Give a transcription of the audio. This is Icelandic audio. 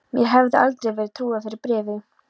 Mér hefði aldrei verið trúað fyrir bréfi.